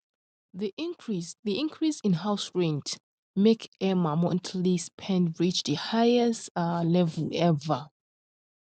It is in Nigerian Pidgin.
the increase the increase in house rent make emma monthly spend reach the highest um level ever um